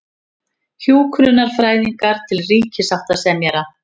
Hjúkrunarfræðingar til ríkissáttasemjara